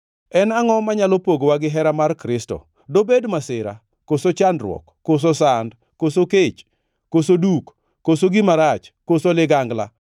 En angʼo manyalo pogowa gihera mar Kristo? Dobed masira, koso chandruok, koso sand, koso kech, koso duk, koso gima rach, koso ligangla?